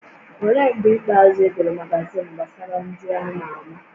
Olee mgbe ikpeazụ ị gụrụ magazin gbasara ndị a ma ama?